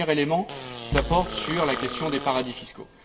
Le premier élément porte sur la question des paradis fiscaux.